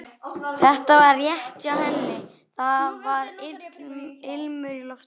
Þetta var rétt hjá henni, það var ilmur í loftinu.